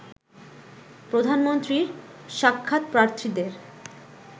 প্রধানমন্ত্রীর সাক্ষাৎপ্রার্থীদের